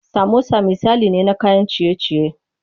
Samosa misali ne na kayan ciye ciye.